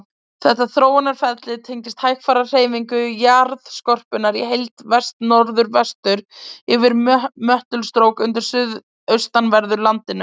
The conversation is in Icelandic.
Þetta þróunarferli tengist hægfara hreyfingu jarðskorpunnar í heild vestnorðvestur yfir möttulstrók undir suðaustanverðu landinu.